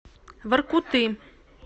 воркуты